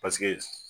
Paseke